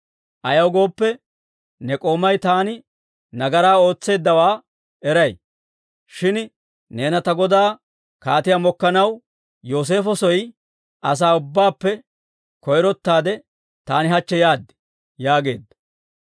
Ayaw gooppe, ne k'oomay taani nagaraa ootseeddawaa eray; shin neena ta godaa kaatiyaa mokkanaw, Yooseefo soo asaa ubbaappe koyrottaade taani hachche yaad» yaageedda.